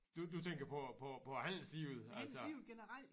Du du tænker på på på handelslivet altså